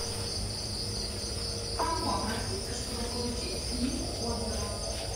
к кому обратиться чтобы получить книгу отзывов